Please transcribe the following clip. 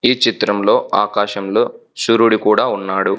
ఈ చిత్రంలో ఆకాశంలో సూర్యుడు కూడా ఉన్నాడు.